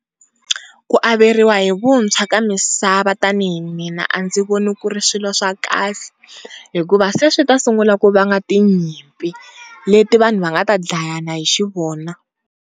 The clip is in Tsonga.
Ku averiwa hi vuntshwa ka misava tanihi mina a ndzi voni ku ri swilo swa kahle hikuva se swi ta sungula ku vanga tinyimpi leti vanhu va nga ta dlayana hi xivona.